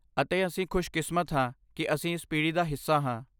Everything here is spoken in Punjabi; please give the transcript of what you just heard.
ਅਤੇ ਅਸੀਂ ਖੁਸ਼ਕਿਸਮਤ ਹਾਂ ਕਿ ਅਸੀਂ ਇਸ ਪੀੜ੍ਹੀ ਦਾ ਹਿੱਸਾ ਹਾਂ।